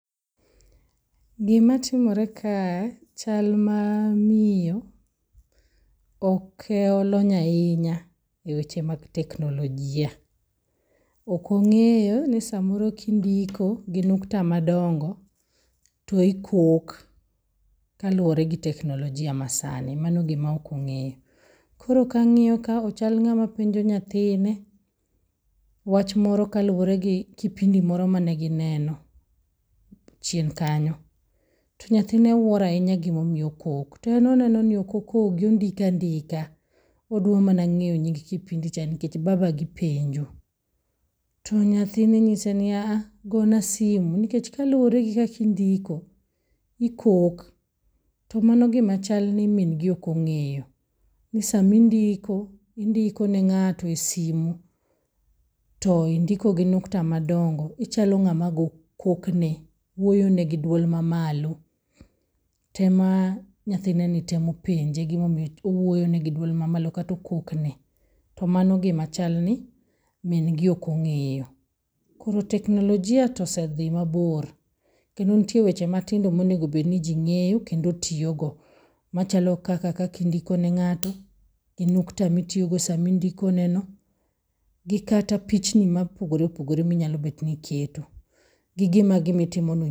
Gimatimore kaa, chal ma miyo ok olony ahinya eweche mag teknolojia. Ok ong'eyo ni samoro kindiko gi nukta madongo to ikok kaluwore gi teknolojia masani. Mano gima ok ong'eyo. Koro ka ang'iyo ka to ochal ng'ama penjo nyathine wach moro kaluwore gi kipindi moro mane gineno chien kanyo. To nyathine wuoro ahinya gima omiyo okok to eneno ni ok okogi, ondiko andika. Odwa mana ng'eyo nying kipindi cha nikech babagi penjo. To nyathine nyise ni a ah, gona simu nikech kaluwore gi kakindiko, ikok to mano gima chal ni min gi ok ong'eyo ni samindiko, indiko ne ng'ato e simu, to indiko gi nyukta madongo, ichalo ng'ama kokne, iwuoyone gi duol mamalo. To ema nyathineni temo penje gimomiyo owuoyone gi duol mamalo kata okokne. To mano gima chhalni min gi ok ong'eyo. Koro teknolojia tosedhi mabor kendo nitie weche matindo monego bed ni ji ng'eyo kendo tiyogo. Machalo kaka kaka indiko ne ng'ato, gi nyukta mitiyogo sama indiko neno, gi kata pichni mopogore opogore minyalo bet niketo, gi gima gimitimono...